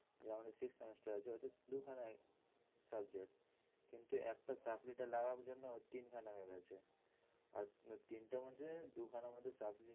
এই যে আমাদের sixth semester আছে ওতে দুখানা subject কিন্তু একট supply লাগার জন্য ওর তিন খানা হয়ে গেছে। আর তিনটের মধ্যে দুখানা মধ্যে supply